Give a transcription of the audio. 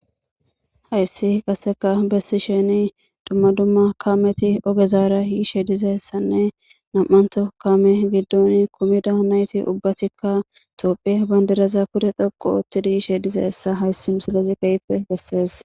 Hayssi qassekka bessishin dumma dumma kaameti ogezara yishe dizayssanne nami'anththo kaame giddon kumida nayti ubbatikka tophphiya bandiraza pude xoqqu ootti yizayssa hayssi misilezi keehippe besses.